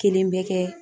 Kelen bɛ kɛ